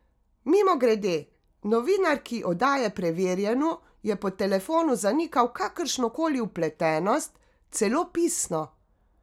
Mimogrede, novinarki oddaje Preverjeno je po telefonu zanikal kakršno koli vpletenost, celo pisno!